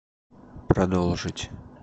продолжить